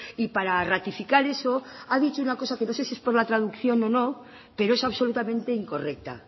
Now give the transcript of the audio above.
y para ratificar eso ha dicho una cosa que no sé si es por la traducción o no pero es absolutamente incorrecta